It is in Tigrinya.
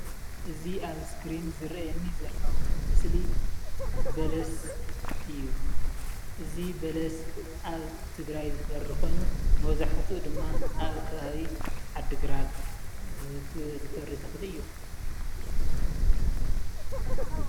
እዚ ኣብ ስክሪን ዝረኣየኒ ዘሎ ምስሊ በለስ እዩ። እዚ በለስ ኣብ ትግራይ ዝፈሪ ኮይኑ መብዛሕትኡ ድማ ኣብ ከባቢ ዓዲግራት ዝፈሪ ተክሊ እዩ።